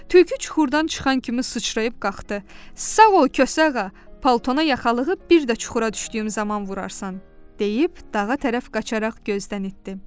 Tülkü çuxurdan çıxan kimi sıçrayıb qalxdı: "Sağ ol, Kosa Ağa, paltana yaxalığı bir də çuxura düşdüyüm zaman vurarsan!" deyib dağa tərəf qaçaraq gözdən itdi.